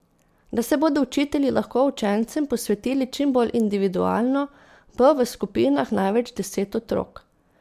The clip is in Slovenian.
Da se bodo učitelji lahko učencem posvetili čim bolj individualno, bo v skupinah največ deset otrok.